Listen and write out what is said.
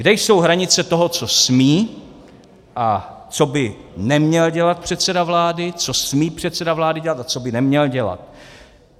Kde jsou hranice toho, co smí a co by neměl dělat předseda vlády, co smí předseda vlády dělat a co by neměl dělat.